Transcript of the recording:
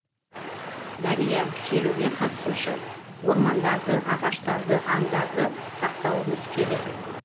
дария шеруге қатысушы ормандарды ағаштарды аңдарды сақтауымыз керек